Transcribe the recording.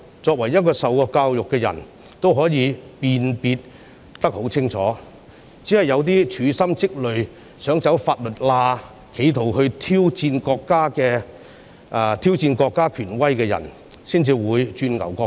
接受過教育的人應該可以辨別清楚，只是一些處心積累、想走法律罅及企圖挑戰國家權威的人才會鑽牛角尖。